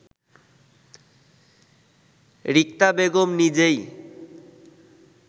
রিক্তা বেগম নিজেই